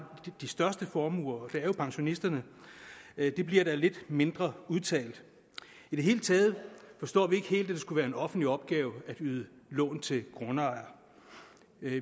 de største formuer og det er jo pensionisterne bliver da lidt mindre udtalt i det hele taget forstår vi ikke helt at det skulle være en offentlig opgave at yde lån til grundejere